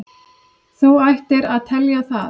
Þú ættir að telja það.